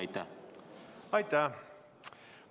Aitäh!